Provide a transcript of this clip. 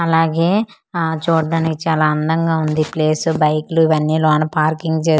అలాగే ఆ చూడ్డానికి చాలా అందంగా ఉంది ప్లేసు బైక్లు ఇవన్నీ లోన పార్కింగ్ చేసి.